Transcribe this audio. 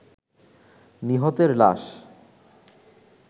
নিহতের লাশ